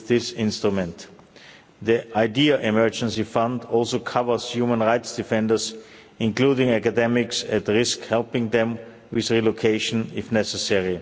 with this instrument. The EIDHR emergency fund also covers human rights defenders including academics at risk helping them with relocation if necessary.